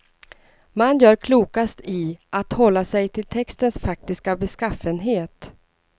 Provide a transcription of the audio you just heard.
Man gör klokast i att hålla sig till textens faktiska beskaffenhet.